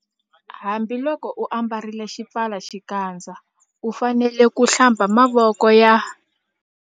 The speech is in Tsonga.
Hambiloko u ambarile xipfalaxikandza u fanele ku- Hlamba mavoko ya